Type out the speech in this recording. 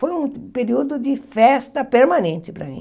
Foi um período de festa permanente para mim.